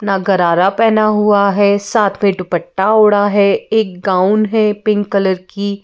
ना गरारा पहना हुआ है साथ में दुपट्टा ओढ़ा है एक गाउन है पिंक कलर की।